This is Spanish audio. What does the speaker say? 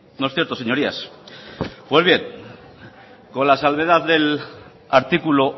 no es cierto señorías pues bien con la salvedad del artículo